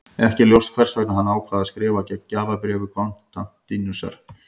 Ekki er ljóst hvers vegna hann ákvað að skrifa gegn gjafabréfi Konstantínusar.